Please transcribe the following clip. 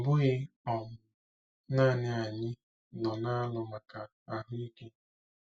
Ọ bụghị um naanị anyị no na-alụ maka ahụ́ ike.